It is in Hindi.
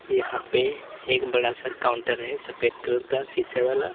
यहां पे एक बड़ा सा काउंटर है सफेद कलर का शीशे वाला।